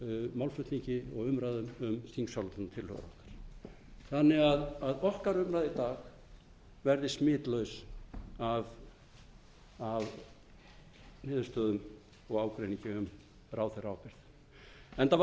málflutningi og umræðum um þingsályktunartillöguna þannig að okkar umræða í dag verði smitlaus af niðurstöðum og ágreiningi um ráðherraábyrgð enda var